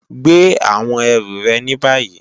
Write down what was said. Gbè àwọn erù re ní bàyí!